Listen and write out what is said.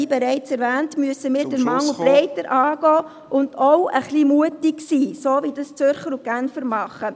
Wie bereits erwähnt, müssen wir …… den Mangel breiter angehen und auch ein bisschen mutig sein – so, wie es die Zürcher und Genfer machen.